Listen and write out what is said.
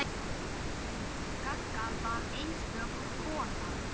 Gagga var einstök kona.